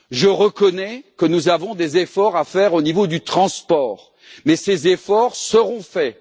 Je reconnais que nous avons des efforts à faire au niveau du transport, mais ils seront faits.